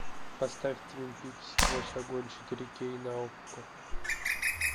поставь твин пикс сквозь огонь четыре кей на окко